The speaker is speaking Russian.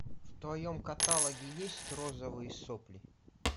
в твоем каталоге есть розовые сопли